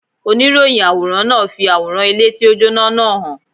Oníròyìn àwòrán náà fi àwòrán ilé tí ó jóná náà hàn.